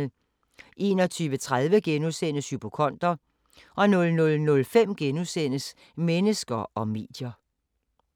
21:30: Hypokonder * 00:05: Mennesker og medier *